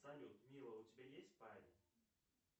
салют мила у тебя есть парень